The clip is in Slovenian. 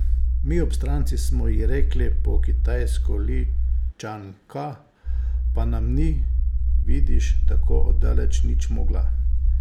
Mi obstranci smo ji rekli po kitajsko Li Čan Ka, pa nam ni, vidiš, tako od daleč nič mogla.